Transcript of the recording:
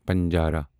پنجارا